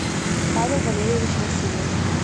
павел валерьевич васильев